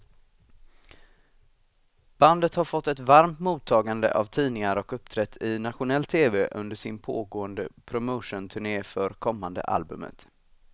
Bandet har fått ett varmt mottagande av tidningar och uppträtt i nationell tv under sin pågående promotionturné för kommande albumet.